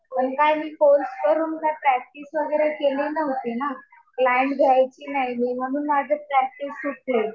पण काय मी कोर्स करून ना प्रॅक्टिस वगैरे केली नव्हती ना. क्लाईन्ट घ्यायचे नाही मी, म्हणून माझी प्रॅक्टिस सुटली.